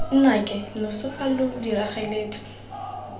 nnake loso fa lo diragaletse